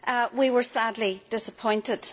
We were sadly disappointed.